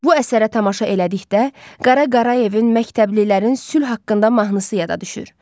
Bu əsərə tamaşa elədikdə Qara Qarayevin məktəblilərin sülh haqqında mahnısı yada düşür.